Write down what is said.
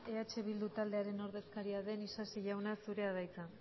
eh bildu taldearen ordezkaria den isasi jauna zurea da hitza